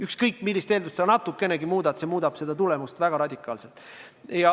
Ükskõik, millist eeldust natukenegi muuta, muutub tulemus väga radikaalselt.